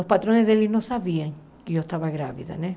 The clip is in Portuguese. Os patrões dele não sabiam que eu estava grávida, né?